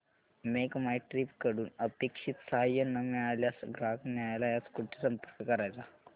make my trip कडून अपेक्षित सहाय्य न मिळाल्यास ग्राहक न्यायालयास कुठे संपर्क करायचा